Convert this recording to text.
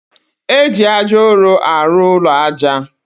Eji aja ụrụ arụ ụlọ aja.